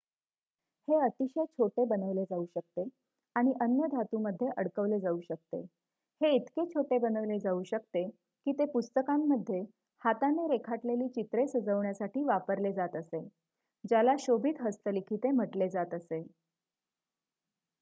हे अतिशय छोटे बनवले जाऊ शकते आणि अन्य धातूमध्ये अडकवले जाऊ शकते हे इतके छोटे बनवले जाऊ शकते की ते पुस्तकांमध्ये हाताने रेखाटलेली चित्र सजवण्यासाठी वापरले जात असे ज्याला शोभित हस्तलिखिते'' म्हटलेजात असे